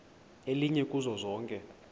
elinye kuzo zonke